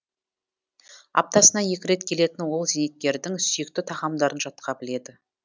аптасына екі рет келетін ол зейнеткердің сүйікті тағамдарын жатқа біледі